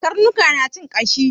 Karnuka suna cin ƙashi.